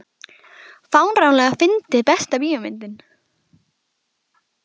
fáránlega fyndið Besta bíómyndin?